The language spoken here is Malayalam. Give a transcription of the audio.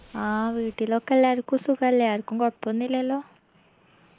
ആ വീട്ടിലൊക്കെ എല്ലാർക്കും സുഖല്ലേ ആരിക്കും കൊഴപ്പൊന്നൂല്ലല്ലോ